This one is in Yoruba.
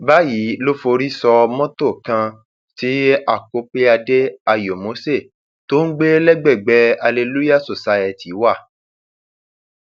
báyìí ló forí sọ mọtò kan tí akopyade ayomose tó ń gbé gbé lágbègbè hallelúyàh society wà